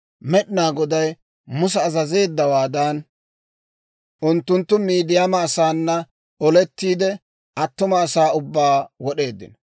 Med'inaa Goday Musa azazeeddawaadan, unttunttu Midiyaama asaana olettiide, attuma asaa ubbaa wod'eeddino.